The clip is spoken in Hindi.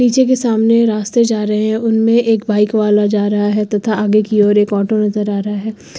पीछे के सामने रास्ते जा रहे हैं उनमें एक बाइक वाला जा रहा है तथा आगे की ओर एक ऑटो नजर आ रहा है।